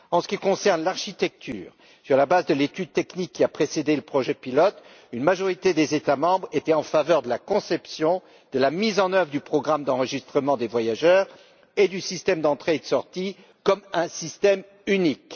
En ce qui concerne l'architecture, sur la base de l'étude technique qui a précédé le projet pilote, une majorité des États membres était en faveur de la mise en œuvre du programme d'enregistrement des voyageurs et du système d'entrée sortie comme un système unique.